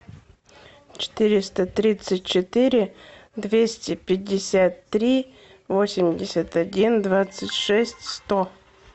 четыреста тридцать четыре двести пятьдесят три восемьдесят один двадцать шесть сто